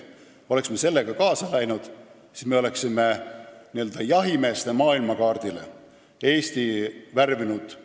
Kui me oleks sellega kaasa läinud, siis me oleksime Eesti n-ö jahimeeste maailmakaardil üheks mustaks laiguks värvinud.